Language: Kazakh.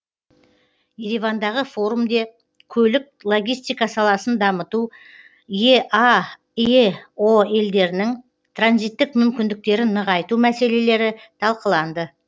еревандағы форумде көлік логистика саласын дамыту еаэо елдерінің транзиттік мүмкіндіктерін нығайту мәселелері талқыланды